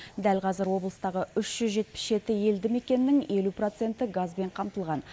дәл қазір облыстағы үш жүз жетпіс жеті елді мекеннің елу проценті газбен қамтылған